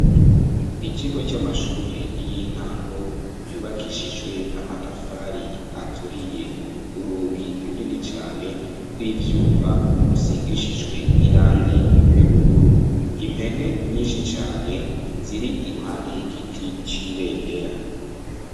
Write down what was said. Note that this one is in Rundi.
Ikigo c'amashure y'intango yubakishijwe amatafari aturiye, urugi runini cane rw'ivyuma rusigishijwe irangi ry'ubururu, impene nyinshi cane ziri iruhande y'igiti c'ibendera.